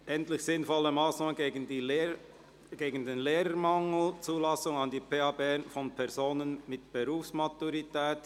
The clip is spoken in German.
«Endlich sinnvolle Massnahmen gegen den Lehrermangel – Zulassung an die PH Bern von Personen mit Berufsmaturität».